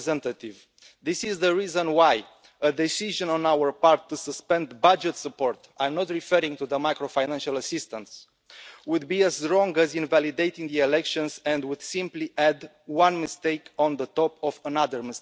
High Representative, this is the reason why a decision on our part to suspend budget support I am not referring to the macro-financial assistance would be as wrong as invalidating the elections, and would simply add one mistake on top of another.